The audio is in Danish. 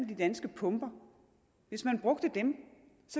de danske pumper hvis man brugte dem